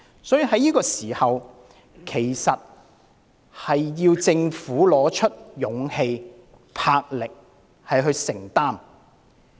所以，政府要在此時拿出勇氣和魄力，作出承擔。